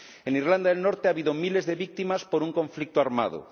En Irlanda del Norte ha habido miles de víctimas por un conflicto armado.